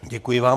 Děkuji vám.